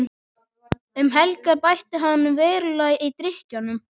Um helgar bætti hann verulega í drykkjuna.